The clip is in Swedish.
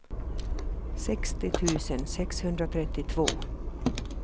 sextio tusen sexhundratrettiotvå